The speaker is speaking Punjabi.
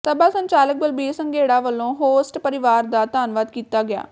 ਸਭਾ ਸੰਚਾਲਕ ਬਲਬੀਰ ਸੰਘੇੜਾ ਵਲੋਂ ਹੋਸਟ ਪਰਿਵਾਰ ਦਾ ਧਨਵਾਦ ਕੀਤਾ ਗਿਆ